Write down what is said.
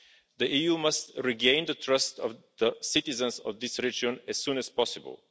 The EU must regain the trust of the citizens of this region as soon as possible.